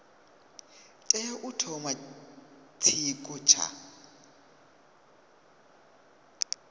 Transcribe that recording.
tea u thoma tshiko tsha